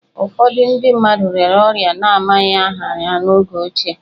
Ụfọdụ ndị mmadụ rịara orịa a na-amaghị aha ha n'oge ochie